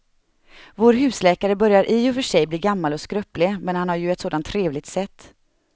Vår husläkare börjar i och för sig bli gammal och skröplig, men han har ju ett sådant trevligt sätt!